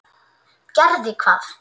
Gerði hvað?